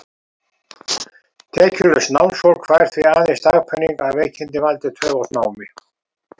Tekjulaust námsfólk fær því aðeins dagpeninga, að veikindin valdi töf á námi.